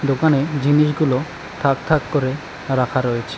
দোকানে জিনিসগুলো থাক থাক করে রাখা রয়েছে।